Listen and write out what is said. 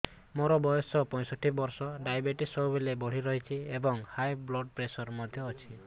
ମୋର ବୟସ ପଞ୍ଚଷଠି ବର୍ଷ ଡାଏବେଟିସ ସବୁବେଳେ ବଢି ରହୁଛି ଏବଂ ହାଇ ବ୍ଲଡ଼ ପ୍ରେସର ମଧ୍ୟ ଅଛି